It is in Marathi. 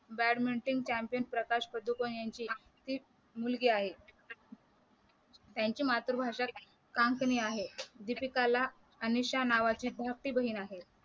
बॅडमिंटन चॅम्पियन प्रकाश पादुकोण यांची ती मुलगी आहे त्यांची मातृभाषा काँकनी आहे दीपिकाला अनिशा नावाची धाकटी बहीण आहे